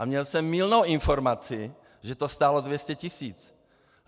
A měl jsem mylnou informaci, že to stálo 200 tisíc.